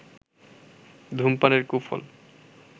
ধুমপানের কুফল